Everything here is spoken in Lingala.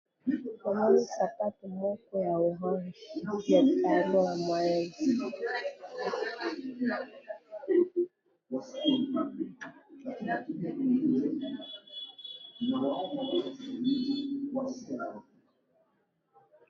sapatu moko ya bana basi na langi ya mosaka.